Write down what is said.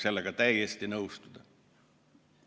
" Sellega võib täiesti nõustuda.